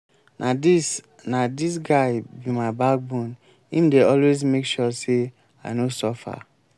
na dis na dis guy be my backbone im dey always make sure sey i no suffer.